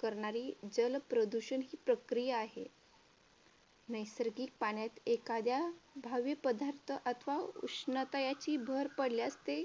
करणारी जलप्रदूषण ही प्रक्रिया आहे. नैसर्गिक पाण्यात एखाद्या भावी पदार्थ अथवा उष्णता याची भर पडल्यास ते